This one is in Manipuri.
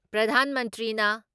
ꯄ꯭ꯔꯙꯥꯟ ꯃꯟꯇ꯭ꯔꯤꯅ